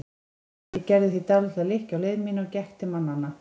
Ég gerði því dálitla lykkju á leið mína og gekk til mannanna.